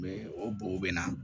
Mɛ o bo na